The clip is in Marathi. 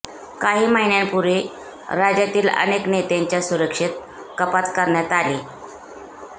काही महिन्यांपूर्वी राज्यातील अनेक नेत्यांच्या सुरक्षेत कपात करण्यात आली